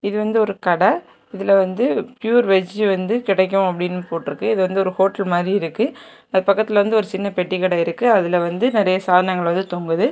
இது வந்து ஒரு கட இதுல வந்து பியூர் வெஜ் வந்து கெடைக்கும் அப்படின்னு போட்ருக்கு இது வந்து ஒரு ஹோட்டல் மாரி இருக்கு அது பக்கத்துல ஒரு சின்ன பெட்டிகட இருக்கு அதுல வந்து நெறைய சாதனங்கள் வந்து தொங்குது.